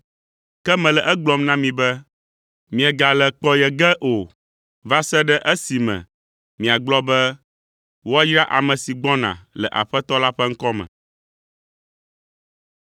Ke mele egblɔm na mi be, miegale kpɔ nye ge o va se ɖe esime miagblɔ be, ‘Woayra ame si gbɔna le Aƒetɔ la ƒe ŋkɔ me.’ ”